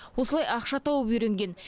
осылай ақша тауып үйренген